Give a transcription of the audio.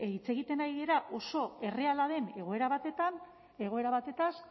hitz egiten ari gara oso erreala den egoera batez